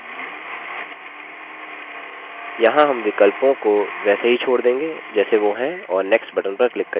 यहाँ हम विकल्पों को वैसे ही छोड़ देंगे जैसे वो हैं और next पर click करिये